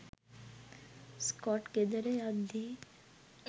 Scott ගෙදර යද්දි